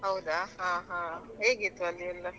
ಹೌದಾ ಹಾ ಹಾ ಹೇಗಿತ್ತು ಅಲ್ಲಿಯೆಲ್ಲಾ.